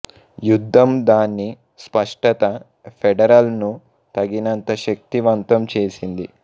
యుద్ధం దాని స్పష్టత ఫెడరల్ ను తగినంత శక్తివంతం చేసింది